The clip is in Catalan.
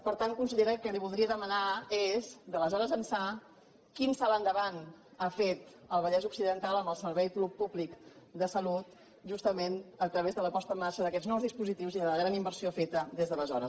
per tant consellera el que li voldria demanar és d’aleshores ençà quin salt endavant ha fet el vallès occidental en el servei públic de salut justament a través de la posta en marxa d’aquests nous dispositius i de la gran inversió feta des d’aleshores